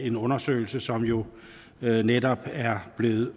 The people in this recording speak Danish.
en undersøgelse som jo netop er blevet